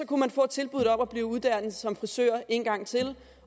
kunne man få tilbuddet om at blive uddannet som frisør en gang til